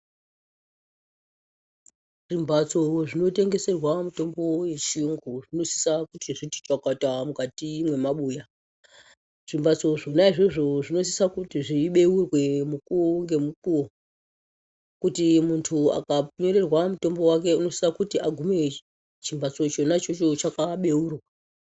Zvimbatso zvinotengeserwa mutombo wechiyungu zvinosise kuti zviti chokoto mukati mwemabuya , zvimbatso zvona izvozvo zvinosisa kuti zveibeurwe mukuwo ngemukuwo kuti muntu akapererwa mutombo unosisa kuti agume chimbatso chona ichocho chakabeurwa.